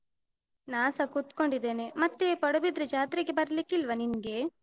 ನಾನ್ಸ ಕುತ್ಕೊಂಡಿದ್ದೇನೆ. ಮತ್ತೆ ಪಡುಬಿದ್ರಿ ಜಾತ್ರೆಗೆ ಬರ್ಲಿಕ್ಕೆ ಇಲ್ವಾ ನಿನ್ಗೆ?